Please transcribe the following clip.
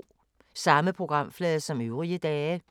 Samme programflade som øvrige dage